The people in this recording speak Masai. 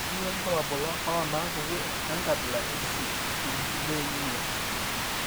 Kainyio irbulabul onaapuku enkabila e I eCitrullinemia?